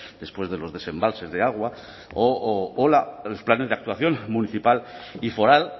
después de los desembalses de agua o los planes de actuación municipal y foral